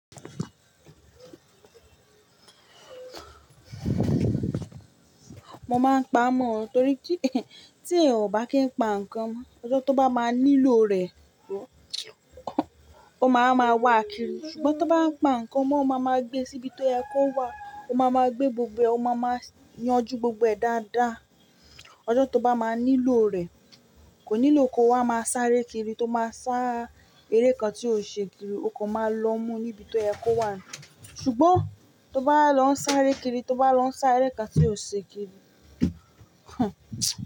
Mo máa ń pa amọ̀ torí tí, tí ẹyan o bá kí ń pa nǹkan mo, ọjọ́ tó bá máa nílò rẹ̀, ó máa ma wà kiri. Ṣùgbọ́n tó bá pa nǹkan, ọmọ máa ma gbé síbi tó ye kó wá, ó máa ma gbé gbogbo rẹ̀, ó máa ma yanjú gbogbo ẹ̀ dáadáa. Ọjọ́ tó bá máa nílò rẹ̀, kò nílò kó wá má sáré kiri tó máa sá eré kan tí ò ṣe kiri, o kò máa lọ mú níbi tó yẹ kó wá. Ṣùgbọ́n tó bá lọ sáré kiri, tó bá lọ sá eré kan tí ò ṣe kiri,